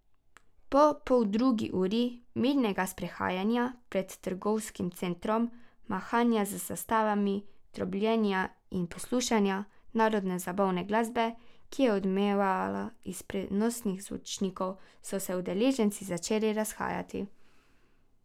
Po poldrugi uri mirnega sprehajanja pred trgovskim centrom, mahanja z zastavami, trobljenja in poslušanja narodnozabavne glasbe, ki je odmevala iz prenosnih zvočnikov, so se udeleženci začeli razhajati.